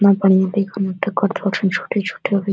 केतना बढ़ियां देखे में छोटे-छोटे --